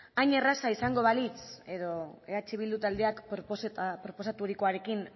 hain erreza izango balitz edo eh bildu taldeak proposaturikoarekin